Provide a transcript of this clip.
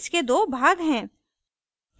इसके दो भाग हैं